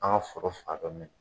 An fɔra fan dɔ min.